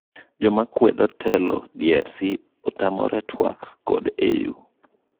Jomakwedo telo DRC otamore twak kod AU.